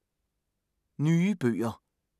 Nye bøger